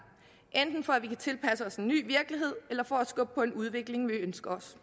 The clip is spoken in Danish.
enten for at vi kan tilpasse os en ny virkelighed eller for at skubbe på en udvikling vi ønsker os